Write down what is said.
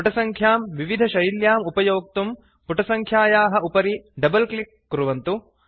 पुटसङ्ख्यां विविधशैल्याम् उपयोक्तुं पुटसङ्ख्यायाः उपरि डबल् क्लिक् कुर्वन्तु